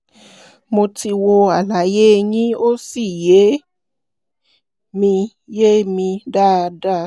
mo ti wo àlàyé yín ó sì yé mi yé mi dáadáa